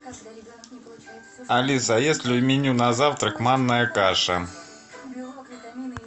алиса есть ли в меню на завтрак манная каша